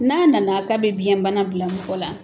N'a nana k'a bɛ biɲɛbana bila mɔgɔ la.